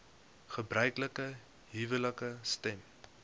gebruiklike huwelike stem